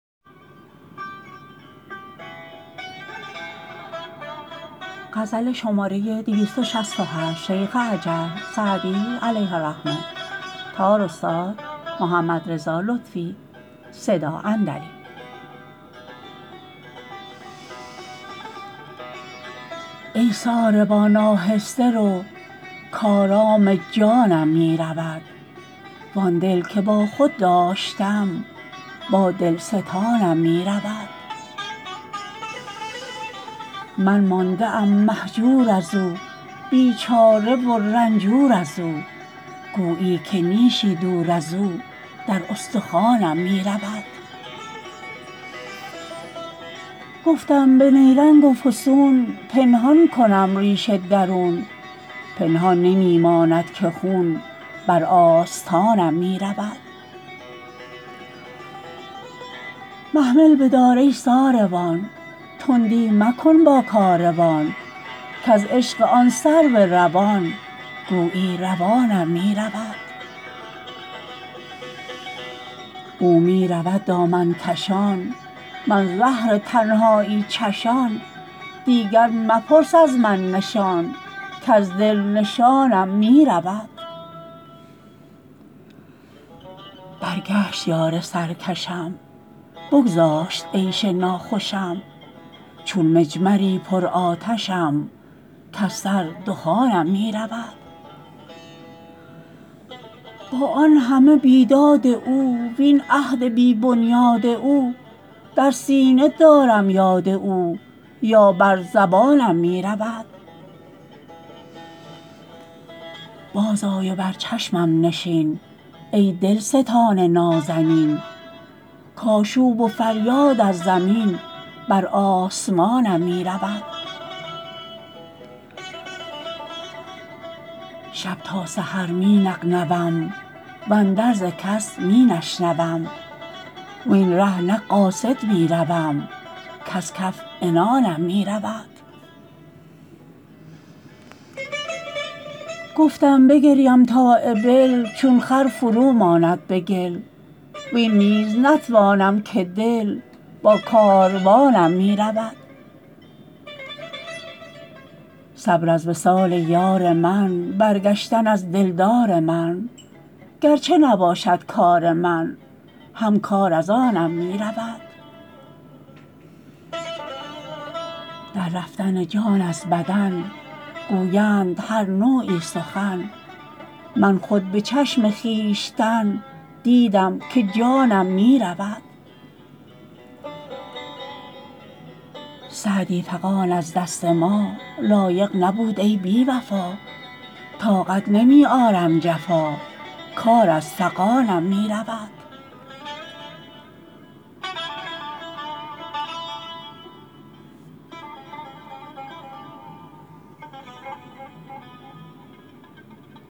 ای ساربان آهسته رو کآرام جانم می رود وآن دل که با خود داشتم با دل ستانم می رود من مانده ام مهجور از او بیچاره و رنجور از او گویی که نیشی دور از او در استخوانم می رود گفتم به نیرنگ و فسون پنهان کنم ریش درون پنهان نمی ماند که خون بر آستانم می رود محمل بدار ای ساروان تندی مکن با کاروان کز عشق آن سرو روان گویی روانم می رود او می رود دامن کشان من زهر تنهایی چشان دیگر مپرس از من نشان کز دل نشانم می رود برگشت یار سرکشم بگذاشت عیش ناخوشم چون مجمری پرآتشم کز سر دخانم می رود با آن همه بیداد او وین عهد بی بنیاد او در سینه دارم یاد او یا بر زبانم می رود بازآی و بر چشمم نشین ای دلستان نازنین کآشوب و فریاد از زمین بر آسمانم می رود شب تا سحر می نغنوم واندرز کس می نشنوم وین ره نه قاصد می روم کز کف عنانم می رود گفتم بگریم تا ابل چون خر فرو ماند به گل وین نیز نتوانم که دل با کاروانم می رود صبر از وصال یار من برگشتن از دلدار من گر چه نباشد کار من هم کار از آنم می رود در رفتن جان از بدن گویند هر نوعی سخن من خود به چشم خویشتن دیدم که جانم می رود سعدی فغان از دست ما, لایق نبود ای بی وفا طاقت نمی آرم جفا کار از فغانم می رود